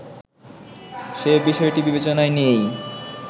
সে বিষয়টি বিবেচনায় নিয়েই